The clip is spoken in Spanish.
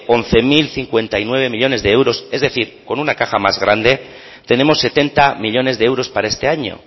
once mil cincuenta y nueve millónes de euros es decir con una caja más grande tenemos setenta millónes de euros para este año